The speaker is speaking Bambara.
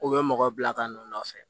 K'u bɛ mɔgɔ bila ka n'u nɔfɛ